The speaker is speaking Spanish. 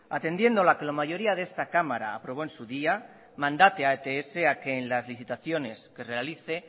atendiendo a lo que la mayoría de esta cámara aprobó en su día mandate a ets que en las licitaciones que realice